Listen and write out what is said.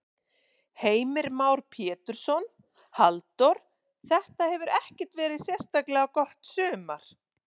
Heimir Már Pétursson: Halldór, þetta hefur ekkert verið sérstaklega gott sumar?